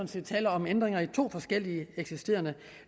set tale om ændringer af to forskellige eksisterende